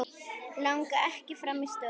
Langar ekki fram í stofu.